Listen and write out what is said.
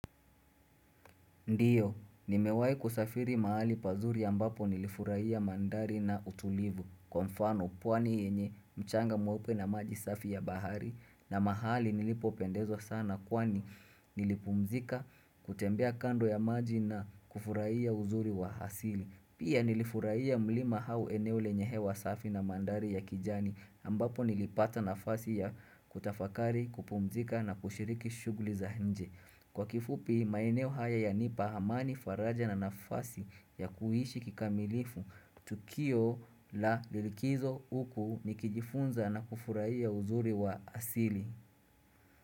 Ndiyo, nimewai kusafiri mahali pazuri ambapo nilifurahia mandhari na utulivu Kwa mfano, pwani yenye mchanga mweupe na maji safi ya bahari na mahali nilipo pendezwa sana kwani nilipumzika kutembea kando ya maji na kufurahia uzuri wa hasili Pia nilifurahia mlima hau eneo lenyehe wa safi na mandhari ya kijani ambapo nilipata na fasi ya kutafakari, kupumzika na kushiriki shuguli za nje Kwa kifupi maeneo haya ya nipa hamani faraja na nafasi ya kuhishi kikamilifu Tukio la likizo uku nikijifunza na kufurahia uzuri wa asili.